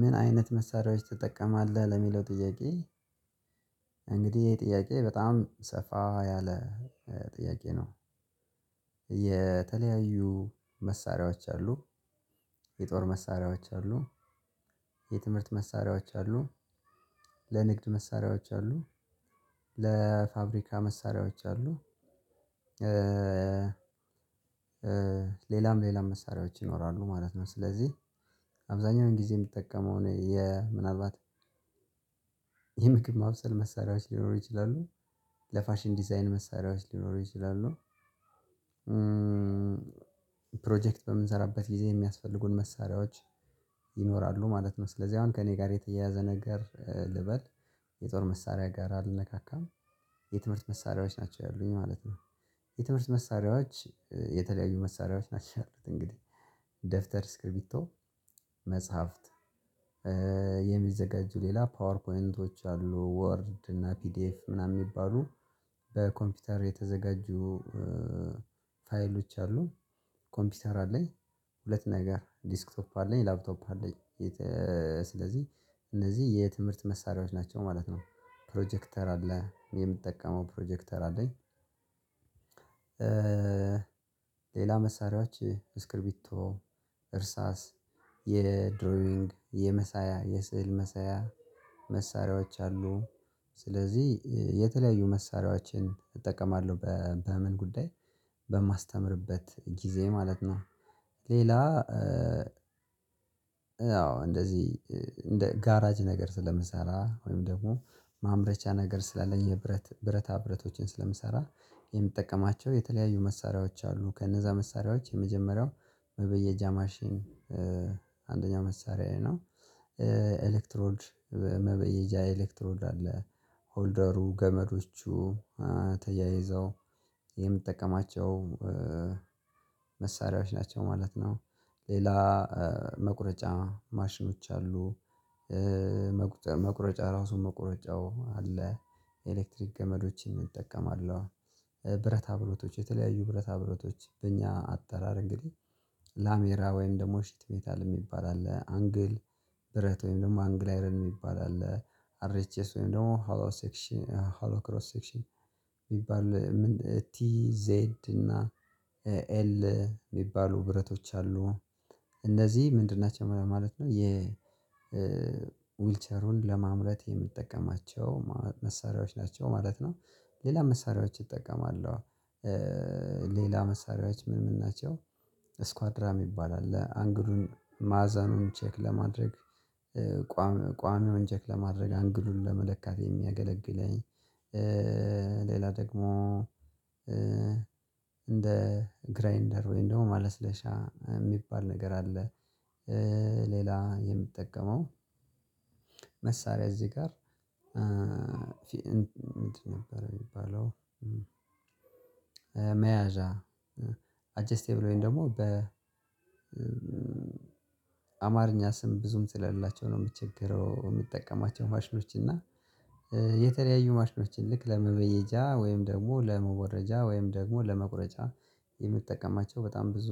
ምን አይነት መሳሪያዎች ትጠቀማለህ ለሚለው ጥያቄ? እንግዲህ ይህ ጥያቄ በጣም ሰፋ ያለ ጥያቄ ነው። የተለያዩ መሳሪያዎች አሉ። የጦር መሳሪያዎች አሉ። የትምህርት መሳሪያዎች አሉ። ለንግድ መሳሪያዎች አሉ። ለፋብሪካ መሳሪያዎች አሉ። ሌላም ሌላም መሳሪያዎች ይኖራሉ ማለት ነው። ስለዚህ አብዛኛውን ጊዜ የምጠቀመው የ ምናልባት የምግብ ማብሰል መሳሪያዎች ሊኖሩ ይችላሉ። ለፋሽን ዲዛይን መሳሪያዎች ሊኖሩ ይችላሉ። ፕሮጀክት በምንሰራበት ጊዜ የሚያስፈልጉን መሳሪያዎች ይኖራሉ ማለት ነው። ስለዚህ አሁን ከእኔ ጋር የተያያዘ ነገር ልበል። የጦር መሳሪያ ጋር አልነካካም። የትምህርት መሳሪያዎች ናቸው ያሉኝ ማለት ነው። የትምህርት መሳሪያዎች የተለያዩ መሳሪያዎች ናቸው። እንግዲህ ደብተር እስክሪፕቶ መጽሐፍት። የሚዘጋጁ ሌላ ፓወር ፖይንቶች አሉ ወርድ እና ፒዲኤፍ ምናምን የሚባሉ በኮምፒውተር የተዘጋጁ ፋይሎች አሉ። ኮምፒውተር አለኝ። ሁለት ነገር ዲስክ ቶፕ አለኝ ላፕቶፕ አለኝ። ስለዚህ እነዚህ የትምህርት መሳሪያዎች ናቸው ማለት ነው። ፕሮጀክተር አለ የምጠቀመው ፕሮጀክተር አለኝ። ሌላ መሳሪያዎች እስክሪቢቶ እርሳስ የድሮይንግ የመሳያ የስዕል መሳያ መሳሪያዎች አሉ። ስለዚህ የተለያዩ መሳሪያዎችን እጠቀማለሁ በምን ጉዳይ በማስተምርበት ጊዜ ማለት ነው። ሌላ አዎ። እንደዚህ እንደ ጋራጅ ነገር ስለምሰራ ወይም ደግሞ ማምረቻ ነገር ስላለኝ የብረት ብረታ ብረቶችን ስለምሰራ የምጠቀማቸው የተለያዩ መሳሪያዎች አሉ። ከነዛ መሳሪያዎች የመጀመሪያው መበየጃ ማሽን አንደኛ መሳሪዬ ነው። ኤሌክትሮድ መበየጃ ኤሌክትሮድ አለ። ሆልደሩ ገመዶቹ ተያይዘው የምጠቀማቸው መሳሪያዎች ናቸው ማለት ነው። ሌላ መቁረጫ ማሽኖች አሉ። መቁጨ መቁረጫ ራሱ መቁረጫው አለ። ኤሌክትሪክ ገመዶችን እጠቀማለሁ። ብረታ ብረቶች የተለያዩ ብረታ ብረቶች በእኛ አጠራር እንግዲህ ላሜራ ወይም ደግሞ ሽት ሜታል የሚባል አለ አንግል ብረት ወይም ደግሞ አንግል አይረን የሚባል አለ። አር ኤች ኤስ ወይም ደግሞ ሃሎ ሴክሽን ሃሎ ክሮስ ሴክሽን የሚባል ቲ ዜድ እና ኤ ኤል የሚባሉ ብረቶች አሉ። እነዚህ ምንድን ናቸው ማለት ነው። የ ዊልቸሩን ለማምረት የምጠቀማቸው መሳሪያዎች ናቸው ማለት ነው። ሌላ መሳሪያዎች እጠቀማለው። ሌላ መሳሪያዎች ምን ምን ናቸው? እስኳድራ የሚባል አለ አንግሉን ማዕዘኑን ቼክ ለማድረግ ቋሚውን ቼክ ለማድረግ አንግሉን ለመለካት የሚያገለግለኝ ሌላ ደግሞ እንደ ግራይንደር ወይም ደግሞ ማለስለሻ የሚባል ነገር አለ። ሌላ የምጠቀመው መሳሪያ እዚህ ጋር እንትን ነበር የሚባለው መያዣ አጀስቴብል ወይም ደግሞ በ አማርኛ ስም ብዙም ስለሌላቸው ነው። የምቸግረው የምጠቀማቸው ማሽኖች እና የተለያዩ ማሽኖችን ልክ ለመበየጃ ወይም ደግሞ ለመሞረጃ ወይም ደግሞ ለመቁረጫ የምጠቀማቸው በጣም ብዙ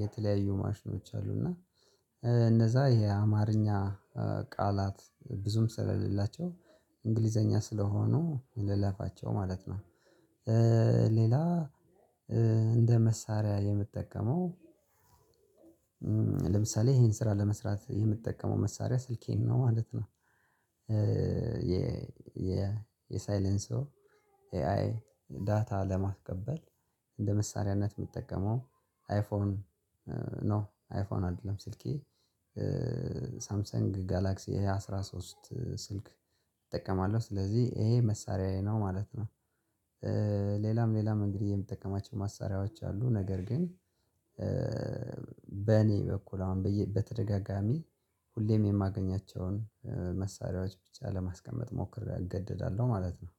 የተለያዩ ማሽኖች አሉ እና እነዛ የአማርኛ ቃላት ብዙም ስለሌላቸው እንግሊዘኛ ስለሆኑ ልለፋቸው ማለት ነው። ሌላ እንደ መሳሪያ የምጠቀመው ለምሳሌ ይሄን ስራ ለመስራት የምጠቀመው መሳሪያ ስልኬን ነው ማለት ነው። የ የ የ ሳይለንሶ ኤአይ ዳታ ለማስቀበል እንደ መሳሪያነት የምጠቀመው አይፎን ኖ አይፎን አይደለም ስልኬ። ሳምሰንግ ጋላክሲ ኤ አስራ ሶስት ስልክ እጠቀማለሁ ስለዚህ ይሄ መሳራዬ ነው ማለት ነው። ሌላም ሌላም እንግዲህ የምጠቀማቸው ማሳሪያዎች አሉ ነገር ግን በእኔ በኩል አሁን በተደጋጋሚ ሁሌም የማገኛቸውን መሳሪያዎች ብቻ ለማስቀመጥ ሞክሬ እገደዳለሁ ማለት ነው።